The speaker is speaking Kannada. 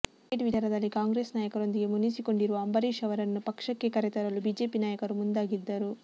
ಟಿಕೆಟ್ ವಿಚಾರದಲ್ಲಿ ಕಾಂಗ್ರೆಸ್ ನಾಯಕರೊಂದಿಗೆ ಮುನಿಸಿಕೊಂಡಿರುವ ಅಂಬರೀಶ್ ಅವರನ್ನು ಪಕ್ಷಕ್ಕೆ ಕರೆತರಲು ಬಿಜೆಪಿ ನಾಯಕರು ಮುಂದಾಗಿದ್ದರು